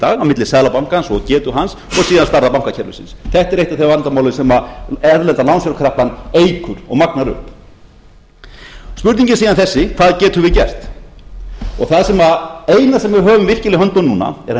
á milli seðlabankans og getu hans og síðan starfs bankakerfisins þetta er eitt af þeim vandamálum sem erlenda lánsfjárkreppan eykur og magnar upp spurningin er síðan þessi hvað getum við gert það eina sem við höfum virkilega í höndunum núna er að